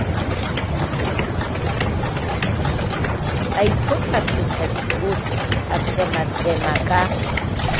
aitlhothatlhotha ditlhotse a tshematshema ka